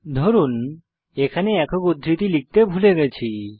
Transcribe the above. ধরুন এখানে একক উদ্ধৃতি লিখতে ভুলে গেছি